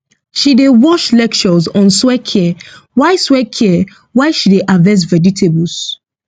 she dey watch lectures on soil care while soil care while she dey harvest vegetables